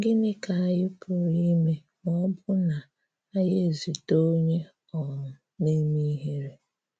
Gịnị́ ka ànyị̀ pụrụ ime ma ọ́ bụ́ na ànyị̀ ezutè onyé um na-emè ihere?